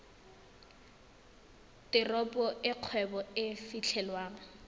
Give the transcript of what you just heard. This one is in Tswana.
teropo e kgwebo e fitlhelwang